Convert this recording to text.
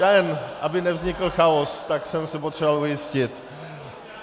Já jen, aby nevznikl chaos, tak jsem se potřeboval ujistit.